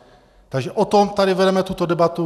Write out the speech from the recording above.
Takže o tom tady vedeme tuto debatu.